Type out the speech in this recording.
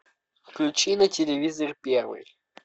включи на телевизоре первый